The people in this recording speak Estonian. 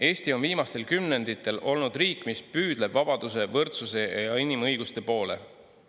Eesti on viimastel kümnenditel olnud riik, mis püüdleb vabaduse, võrdsuse ja inimõiguste poole.